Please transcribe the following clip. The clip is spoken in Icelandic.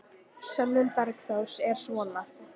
Sönnun Bergþórs er svona: